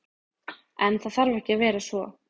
En, það þarf ekki að vera svo.